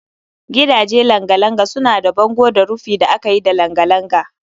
Gidaje langa-langa suna da bango da rufi da aka yi da langa-langa